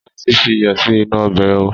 Ránti fi iyọ̀ sì inú ọbẹ̀ ó!